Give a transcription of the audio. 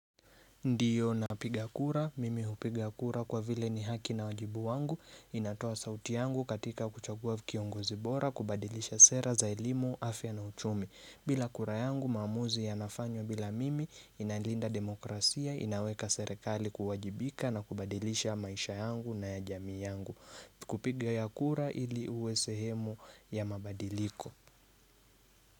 Ndiyo na piga kura, mimi hupiga kura kwa vile ni haki na wajibu wangu, inatoa sauti yangu katika kuchagua kiongozi bora, kubadilisha sera za elimu, afya na uchumi. Bila kura yangu maamuzi yanafanywa bila mimi inalinda demokrasia, inaweka serekali kuwajibika na kubadilisha maisha yangu na ya jamii yangu. Kupiga ya kura ili uwe sehemu ya mabadiliko.